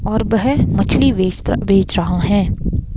और वह मछली बेच रहा है।